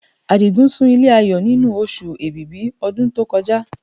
Àdìgún sun ilé Ayọ̀ nínú Oṣù Èbìbí ọdún tó kọjá